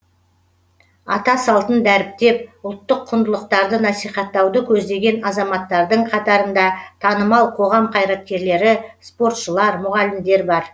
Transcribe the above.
ата салтын дәріптеп ұлттық құндылықтарды насихаттауды көздеген азаматтардың қатарында танымал қоғам қайраткерлері спортшылар мұғалімдер бар